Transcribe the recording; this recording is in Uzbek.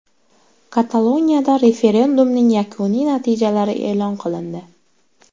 Kataloniyada referendumning yakuniy natijalari e’lon qilindi.